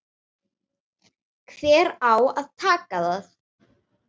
Hver á að taka það?